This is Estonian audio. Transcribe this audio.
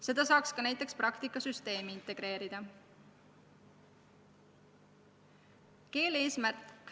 Seda saaks ka praktikasüsteemi integreerida.